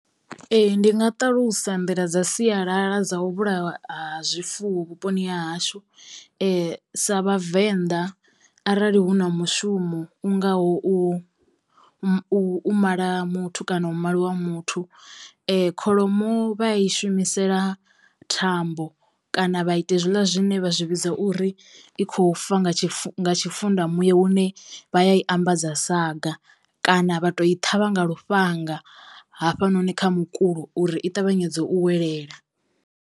Ee ndi nga ṱalusa nḓila dza sialala dza u vhulaiwa ha zwifuwo vhuponi ha hashu sa vhavenḓa arali hu na mushumo u ngaho u mu u u mala muthu kana u maliwa ha muthu kholomo vha ya i shumisela thambo kana vha ita hezwila zwine vha zwi vhidza uri i khou fa nga tshifu tshifunda muya hune vha ya i ambadza saga kana vha tou i ṱhavha nga lufhanga hafha noni kha mukulo uri i ṱavhanyedze u welela.